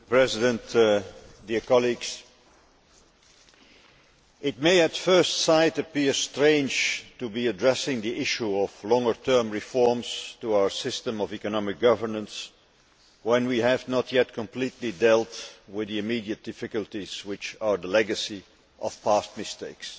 Mr President, it may at first sight appear strange to be addressing the issue of longer term reforms to our system of economic governance when we have not yet completely dealt with the immediate difficulties which are the legacy of past mistakes.